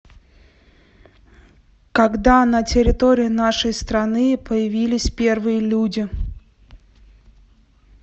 когда на территории нашей страны появились первые люди